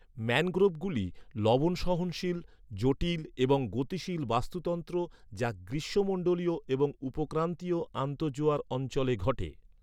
ম্যানগ্রোভগুলি লবণ সহনশীল, জটিল এবং গতিশীল বাস্তুতন্ত্র যা গ্রীষ্মমন্ডলীয় এবং উপক্রান্তীয় আন্তঃজোয়ার অঞ্চলে ঘটে।